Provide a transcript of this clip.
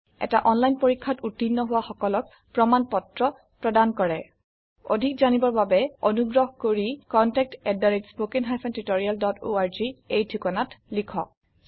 এটা অনলাইন পৰীক্ষাত উত্তীৰ্ণ হোৱা সকলক প্ৰমাণ পত্ৰ প্ৰদান কৰে অধিক জানিবৰ বাবে অনুগ্ৰহ কৰি contactspoken tutorialorg এই ঠিকনাত লিখক